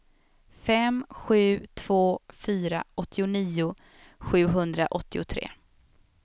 fem sju två fyra åttionio sjuhundraåttiotre